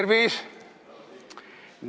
Tervis!